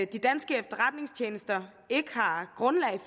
de danske efterretningstjenester ikke har grundlag